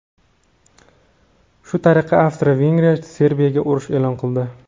Shu tariqa Avstriya-Vengriya Serbiyaga urush e’lon qildi.